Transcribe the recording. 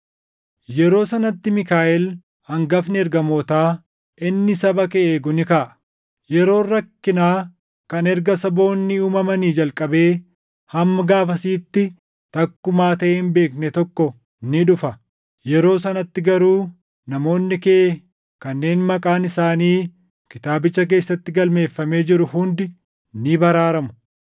“Yeroo sanatti Miikaaʼel hangafni ergamootaa inni saba kee eegu ni kaʼa. Yeroon rakkinaa kan erga saboonni uumamanii jalqabee hamma gaafasiitti takkumaa taʼee hin beekne tokko ni dhufa. Yeroo sanatti garuu namoonni kee kanneen maqaan isaanii kitaabicha keessatti galmeeffamee jiru hundi ni baraaramu.